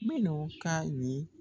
Minnu ka ye